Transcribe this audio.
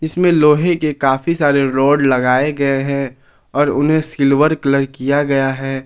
इसमें लोहे के काफी सारे रॉड लगाए गए हैं और उन्हें सिल्वर कलर किया गया है।